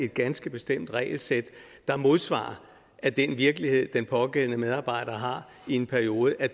ganske bestemt regelsæt der modsvarer at den virkelighed den pågældende medarbejder har i en periode er